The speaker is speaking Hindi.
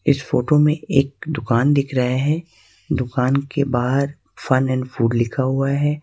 इस फोटो में एक दुकान दिख रहे हैं दुकान के बाहर फन एंड फूड लिखा हुआ है।